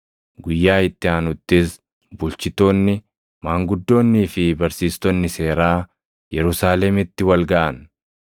Guyyaa itti aanuttis bulchitoonni, maanguddoonnii fi barsiistonni seeraa Yerusaalemitti wal gaʼan.